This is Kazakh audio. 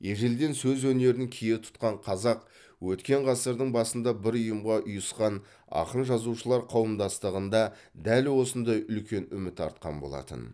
ежелден сөз өнерін кие тұтқан қазақ өткен ғасырдың басында бір ұйымға ұйысқан ақын жазушылар қауымдастығында дәл осындай үлкен үміт артқан болатын